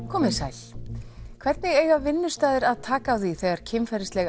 komiði sæl hvernig eiga vinnustaðir að taka á því þegar kynferðisleg